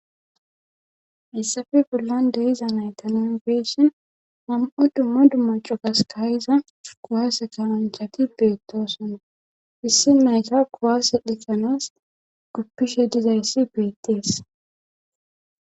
Issafe bollan deiza naytanon beessi mam'o dumma dumma cogas kayiza kuwaase kawanchati beettosona issi nayta kuwaase dhixanas guppishe dizayssi beettees.